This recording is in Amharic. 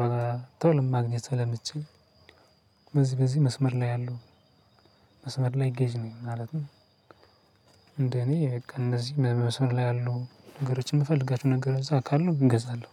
በቶልም ማግኘት አለችኝ። በዚህ በዚህ መስመር ላይ አለው። መስመር ላይ ገዥ ነኝ ማለትም እንደኔ እነዚህ መስመር ላይ ያሉ ነገሮችን የምፈልጋቸው ነገር እዛ ካለው እገዛለሁ።